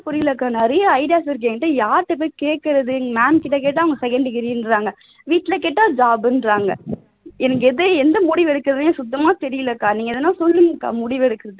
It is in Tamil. புரியலக்கா நிறைய ideas இருக்கு என்கிட்ட யார்கிட்ட போய் கேட்கிறது ma'am கிட்ட கேட்டா அவங்க second degree ன்றாங்க எனக்கு எது எந்த முடிவு எடுக்கறதுன்னே சுத்தமா தெரியல அக்கா நீங்க எதுனா சொல்லுங்க அக்கா முடிவு எடுக்கறதுக்கு